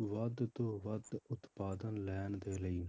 ਵੱਧ ਤੋਂ ਵੱਧ ਉਤਪਾਦਨ ਲੈਣ ਦੇ ਲਈ